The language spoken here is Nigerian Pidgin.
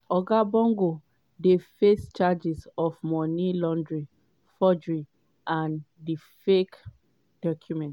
oga bongo dey face charges of money laundering forgery and di fake documents.